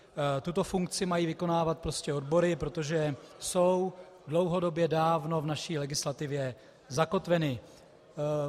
Tuto funkci mají vykonávat prostě odbory, protože jsou dlouhodobě dávno v naší legislativě zakotveny.